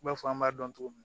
I b'a fɔ an b'a dɔn cogo min